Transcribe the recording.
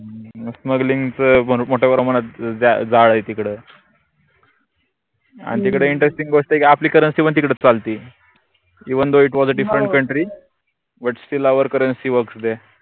smuggling च मोट्या प्रमानात जाळ आहे तिकडं आनि तिकडे interesting गोष्टय आपली currency पन तिकडे चालते eventhoitwasadifferentcountrybutstillourcurrencyworksthere